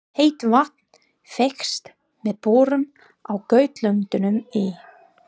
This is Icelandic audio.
Heitt vatn fékkst með borun á Gautlöndum í